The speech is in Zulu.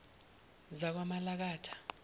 zakwamalakatha